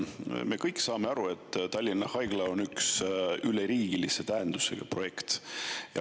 Me kõik saame aru, et Tallinna Haigla on üleriigilise tähendusega projekt.